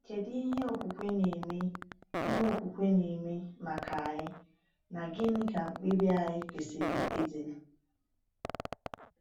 Kedu ihe okwukwe na-eme ihe okwukwe na-eme maka anyị, na gịnị ka mkpebi anyị kwesịrị ịdị?